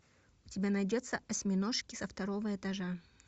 у тебя найдется осьминожки со второго этажа